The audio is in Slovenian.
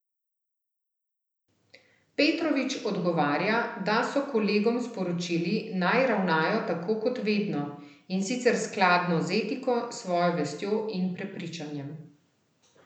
Petrovič odgovarja, da so kolegom sporočili, naj ravnajo tako kot vedno, in sicer skladno z etiko, svojo vestjo in prepričanjem.